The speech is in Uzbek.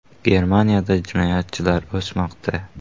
Germaniyada jinoyatchilik o‘smoqda.